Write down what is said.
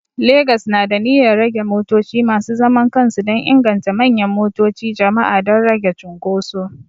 Legas na da niyyar rage motoci masu zaman kansu dan inganta manyan motoci jama'a don rage cunkuso